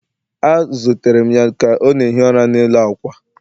A zutere m ya ka ọ na-ehi ụra n'elu ákwà